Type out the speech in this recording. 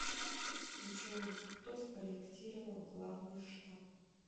джой кто спроектировал главный штаб